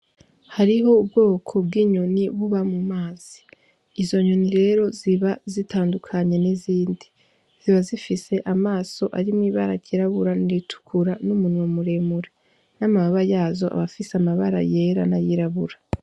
Hariho ubwoko bw'inyoni buba mumazi, izo nyoni rero ziba zitandukanye n'izindi, ziba zifise amaso arimwo ibara ry'irabura, n'iritukura n'umunwa muremure, n'amababa yazo aba afise amabara yera na yirabura.